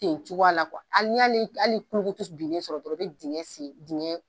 Ten cogoya la hali n'i y'a ni hali kulukutu binnen sɔrɔ ten i bɛ dingɛ sen dingɛ